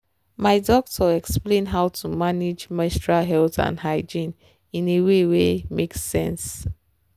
my doctor explain how to manage menstrual health and hygiene in a way wen make sense.